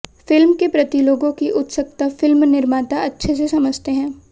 film के प्रति लोगों की उत्सुकता फिल्म निर्माता अच्छे से समझते हैं